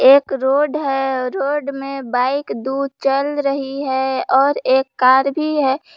एक रोड है रोड में बाइक दूर चल रही है और एक कार भी है।